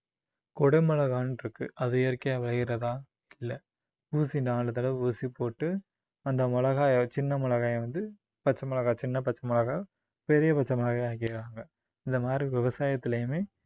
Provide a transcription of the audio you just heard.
குடை மிளகாய்னுருக்கு அது இயற்கையா விளையுறதா, இல்ல ஊசி நாலு தடவை ஊசி போட்டு அந்த மிளகாய சின்ன மிளகாய வந்து பச்சை மிளகாய் சின்ன பச்சை மிளகாய் பெரிய பச்சை மிளகாயா ஆக்கிடுறாங்க. இந்த மாதிரி விவசாயத்துலயுமே